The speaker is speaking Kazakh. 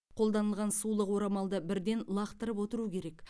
қолданылған сулық орамалды бірден лақтырып отыру керек